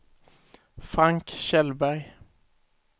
Frank Kjellberg